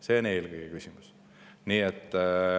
See on eelkõige küsimus.